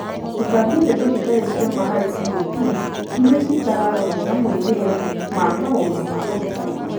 Gũtambia ndeto citarĩ cia ma harĩ CoPs irĩa citararorwo na moimĩrĩra wa maũndũ ma ũrutani.